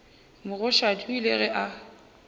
mogoshadi o ile ge a